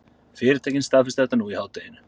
Fyrirtækin staðfestu þetta nú í hádeginu